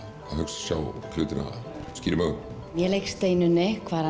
sjá hlutina skýrum augum ég leik Steinunni Kvaran